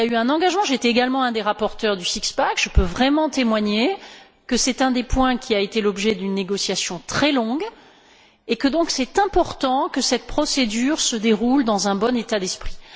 Il y a eu un engagement, j'étais également un des rapporteurs du six pack je peux donc vraiment témoigner que c'est un des points qui a été l'objet d'une négociation très longue et qu'il est donc important que cette procédure se déroule dans un bon état d'esprit.